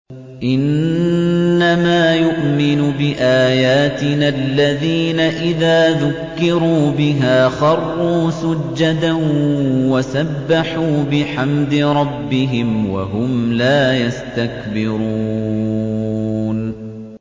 إِنَّمَا يُؤْمِنُ بِآيَاتِنَا الَّذِينَ إِذَا ذُكِّرُوا بِهَا خَرُّوا سُجَّدًا وَسَبَّحُوا بِحَمْدِ رَبِّهِمْ وَهُمْ لَا يَسْتَكْبِرُونَ ۩